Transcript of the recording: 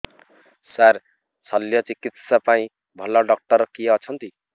ସାର ଶଲ୍ୟଚିକିତ୍ସା ପାଇଁ ଭଲ ଡକ୍ଟର କିଏ ଅଛନ୍ତି